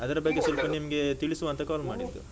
ಅದ್ರ ಬಗ್ಗೆ ನಿಮ್ಗೇ ತಿಳಿಸುವ ಅಂತ call ಮಾಡಿದ್ದು.